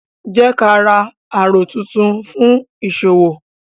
Jẹ ka ra àrò tún tún fun fún ìṣòwò